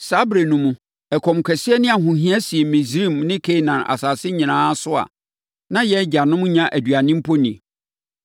“Saa ɛberɛ no mu, ɛkɔm kɛseɛ ne ahohia sii Misraim ne Kanaan asase nyinaa so a na yɛn agyanom nnya aduane mpo nni.